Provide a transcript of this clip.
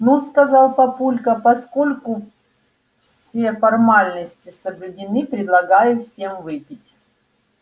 ну сказал папулька поскольку все формальности соблюдены предлагаю всем выпить